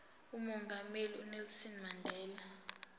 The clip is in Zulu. umongameli unelson mandela